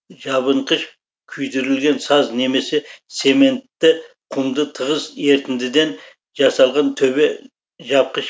жабынқыш күйдірілген саз немесе цементті құмды тығыз ертіндіден жасалған төбе жапқыш